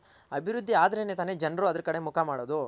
ಅಭಿವೃದ್ದಿ ಆದ್ರೆ ಜನರು ಅದರ್ ಕಡೆ ಮುಖ ಮಾಡೋದು.